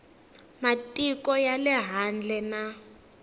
matiko ya le handle na